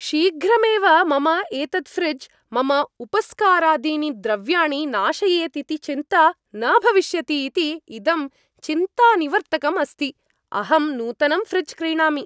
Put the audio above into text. शीघ्रमेव मम एतत् फ़्रिज् मम उपस्करादीनि द्रव्याणि नाशयेत् इति चिन्ता न भविष्यति इति इदं चिन्तानिवर्तकम् अस्ति। अहं नूतनं फ़्रिज् क्रीणामि।